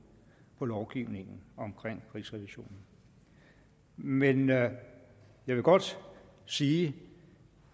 på lovgivningen omkring rigsrevisionen men men jeg vil godt sige